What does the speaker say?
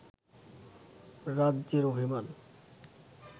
রাজ্যের অভিমান